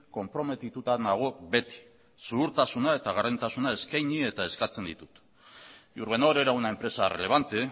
konprometituta nago beti zuhurtasuna eta gardentasuna eskaini eta eskatzen ditut iurbenor era una empresa relevante